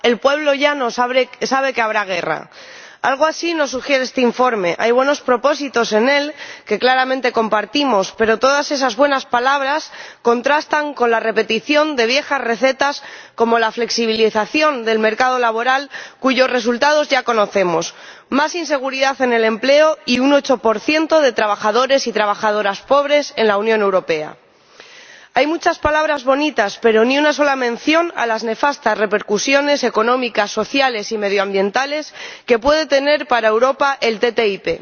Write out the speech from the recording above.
Señor Presidente, decía Bertold Brecht que, cuando los de arriba hablan de paz, el pueblo llano sabe que habrá guerra. Algo así nos sugiere este informe. Hay buenos propósitos en él que claramente compartimos, pero todas esas buenas palabras contrastan con la repetición de viejas recetas como la flexibilización del mercado laboral, cuyos resultados ya conocemos más inseguridad en el empleo y un 8 de trabajadores y trabajadoras pobres en la Unión Europea. Hay muchas palabras bonitas, pero ni una sola mención a las nefastas repercusiones económicas, sociales y medioambientales que puede tener para Europa el TTIP.